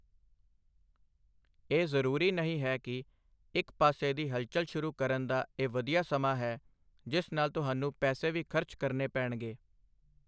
ਇਹ ਜ਼ਰੂਰੀ ਨਹੀਂ ਹੈ ਕਿ ਇੱਕ ਪਾਸੇ ਦੀ ਹਲਚਲ ਸ਼ੁਰੂ ਕਰਨ ਦਾ ਇਹ ਵਧੀਆ ਸਮਾਂ ਹੈ ਜਿਸ ਨਾਲ ਤੁਹਾਨੂੰ ਪੈਸੇ ਵੀ ਖਰਚ ਕਰਨੇ ਪੈਣਗੇ।